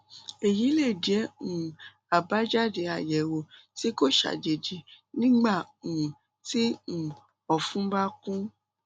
èyí lè jẹ um àbájáde àyẹwò tí kò ṣàjèjì nígbà um tí um ọfun bá kún